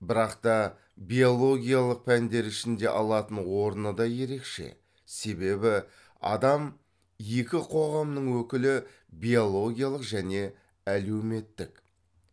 бірақ та биологиялық пәндер ішінде алатын орны да ерекше себебі адам екі қоғамның өкілі биологиялық және әлеуметтік